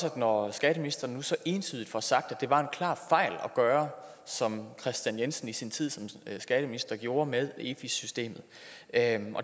at når skatteministeren nu så entydigt får sagt at det var en klar fejl at gøre som kristian jensen i sin tid som skatteminister gjorde med efi systemet og at